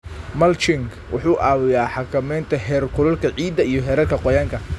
Mulching wuxuu caawiyaa xakameynta heerkulka ciidda iyo heerarka qoyaanka.